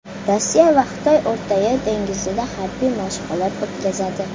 Rossiya va Xitoy O‘rtayer dengizida harbiy mashg‘ulot o‘tkazadi.